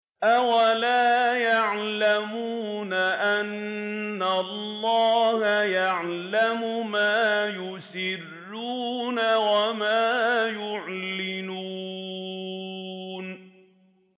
أَوَلَا يَعْلَمُونَ أَنَّ اللَّهَ يَعْلَمُ مَا يُسِرُّونَ وَمَا يُعْلِنُونَ